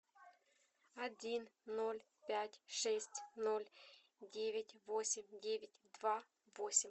один ноль пять шесть ноль девять восемь девять два восемь